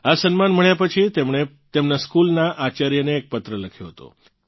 આ સન્માન મળ્યાં પછી તેમણે તેમનાં સ્કૂલનાં આચાર્યને એક પત્ર લખ્યો હતો